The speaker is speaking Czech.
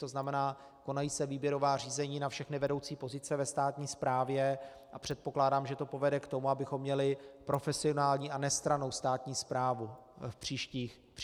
To znamená, konají se výběrová řízení na všechny vedoucí pozice ve státní správě a předpokládám, že to povede k tomu, abychom měli profesionální a nestrannou státní správu v příštích letech.